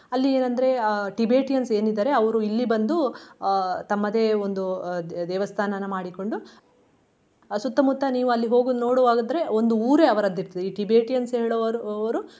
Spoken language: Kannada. ಅಲ್ಲಿ ಏನ್ ಅಂದ್ರೆ ಆ Tibetans ಏನ್ ಇದಾರೆ ಅವ್ರು ಇಲ್ಲಿ ಬಂದು ಅಹ್ ತಮ್ಮದೇ ಒಂದು ದೇವಸ್ಥಾನಾನ ಮಾಡಿಕೊಂಡು ಸುತ್ತಮುತ್ತ ನೀವು ಅಲ್ಲಿ ಹೋಗುದ್ ನೋಡುವದಾದ್ರೆ ಒಂದು ಊರೇ ಅವರದ್ದೇ ಇರ್ತದೆ ಈ Tibetans ಹೇಳುವವರು ಅವರು.